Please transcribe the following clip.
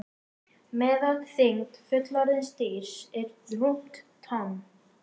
Meðalþyngd fullorðins dýrs er rúmt tonn.